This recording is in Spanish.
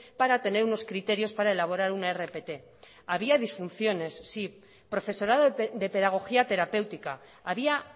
para tener unos criterios para elaborar una rpt había disfunciones sí profesorado de pedagogía terapéutica había